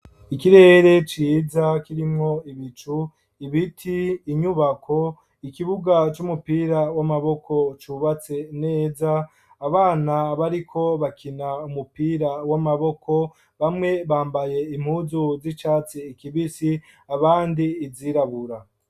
Ikirere ciza, kirimwo ibicu; ibiti, inyubako, ikibuga c'umupira w'amaboko, cubatse neza; abana, bariko bakina umupira w'amaboko, bamwe, bambaye impuzu z'icatsi kibisi, abandi izirabura.